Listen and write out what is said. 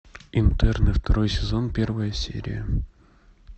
интерны второй сезон первая серия